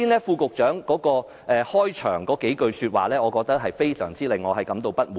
副局長剛才發言中的開首數句說話，令我尤其感到不滿。